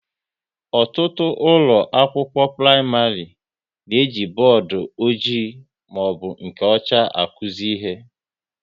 Ọtụtụ ụlọ akwụkwọ praịmarị na-eji bọọdụ ọjị maọbụ nke ọcha akuzi ihe